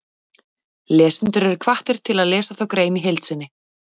Lesendur eru hvattir til að lesa þá grein í heild sinni.